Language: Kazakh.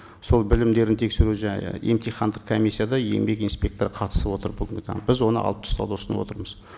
сол білімдерін тексеру жаңа емтихандық комиссияда еңбек инспекторы қатысып отыр бүгінгі таңда біз оны алып тастауды ұсынып отырмыз